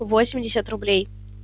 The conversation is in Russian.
восемьдесят рублей